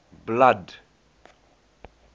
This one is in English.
blood